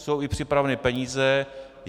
Jsou i připravené peníze.